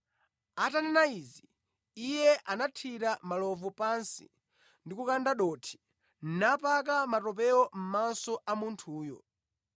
Atanena izi, Iye anathira malovu pansi ndi kukanda dothi, napaka matopewo mʼmaso a munthuyo.